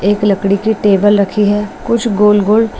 एक लकड़ी की टेबल रखी है कुछ गोल-गोल--